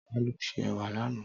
Tàló sè èwà lànã?